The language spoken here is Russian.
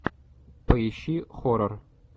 поищи хоррор